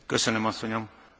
Herr Präsident!